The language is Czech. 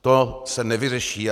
To se nevyřeší.